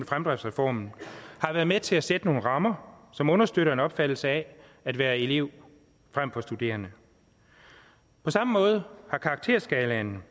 fremdriftsreformen har været med til at sætte nogle rammer som understøtter en opfattelse af at være elev frem for studerende på samme måde har karakterskalaen